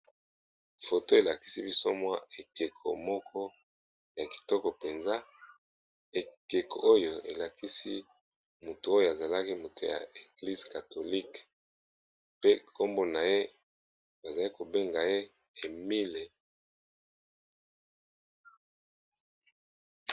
Balakisi biso aekeko ya mosali ya Nzambe ya Eglise Catholique Emile Biayenda.